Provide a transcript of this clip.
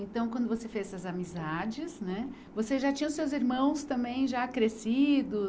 Então, quando você fez essas amizades né, você já tinha os seus irmãos também já crescidos?